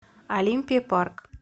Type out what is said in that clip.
олимпия парк